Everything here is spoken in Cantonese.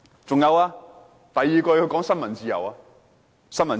此外，她還提及新聞自由。